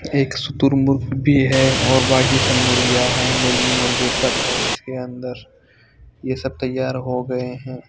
एक सुतुर्मुर्ग भी है और बांकी सब मुर्गियाँ हैं मुर्गी मुर्गे सब हैं इसके अन्दर ये सब तैयार हो गए हैं।